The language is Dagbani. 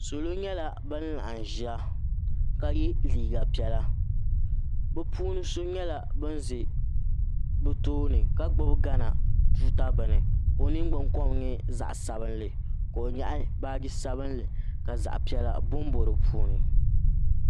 Salo nyɛla nan laɣim ʒia ka ye liiga piɛla bɛ puuni so nyɛla ban ʒi tooni ka gbibi o gaana tuuta bini ka o ningbin kom nyɛ zaɣa sabinli ka o nyaɣi baaji sabinli ka zaɣa piɛlla bombo dipuuni.